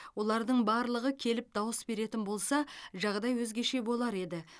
олардың барлығы келіп дауыс беретін болса жағдай өзгеше болар еді